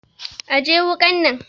Ajiye wukan nan!